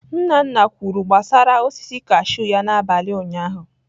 Nna nna kwuru gbasara osisi kashụ ya n'abalị ụnyaahụ.